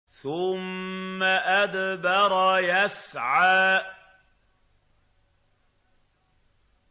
ثُمَّ أَدْبَرَ يَسْعَىٰ